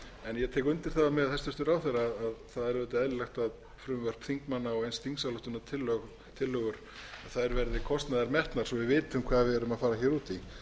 ég tek undir það með hæstvirtum ráðherra að það er auðvitað eðlilegt að frumvörp þingmanna og eins þingsályktunartillögur verði kostnaðarmetnar svo við vitum hvað við erum að fara út